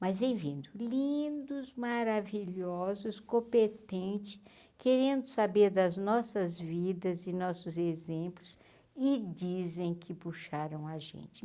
Mas vem vindo lindos, maravilhosos, competente, querendo saber das nossas vidas e nossos exemplos e dizem que puxaram a gente.